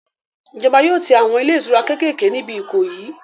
Ìjọba yóò tí àwọn ilé ìtura kékèké níbi Ìkòyí